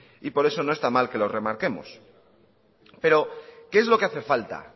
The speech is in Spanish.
y por eso no está mal que lo remarquemos pero